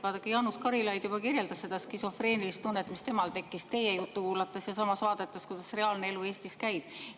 Vaadake, Jaanus Karilaid juba kirjeldas seda skisofreenilist tunnet, mis temal tekkis teie juttu kuulates ja samas vaadates, kuidas reaalne elu Eestis käib.